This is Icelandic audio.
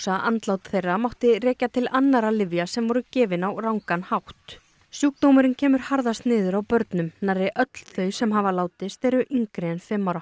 að andlát þeirra mátti rekja til annarra lyfja sem þeim voru gefin á rangan hátt sjúkdómurinn kemur harðast niður á börnum nærri öll þau sem hafa látist eru yngri en fimm ára